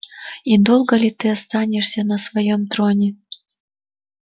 и долго ли ты останешься на своём троне